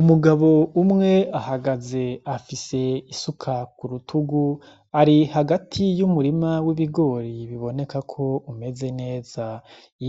Umugabo umwe ahagaze afise isuka k'urutugu, ari hagati y'umurima w'ibigori biboneka ko umeze neza.